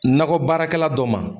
Nɔgɔ baarakɛla dɔ ma